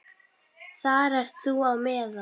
Þar ert þú á meðal.